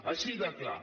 així de clar